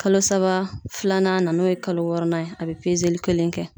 Kalo saba filanan na n'o ye kalo wɔɔrɔnan ye a be pezeli kelen kɛ